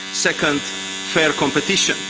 Second, fair competition.